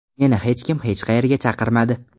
Meni hech kim hech qayerga chaqirmadi.